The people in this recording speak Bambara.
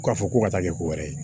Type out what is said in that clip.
K'a fɔ ko ka taa kɛ ko wɛrɛ ye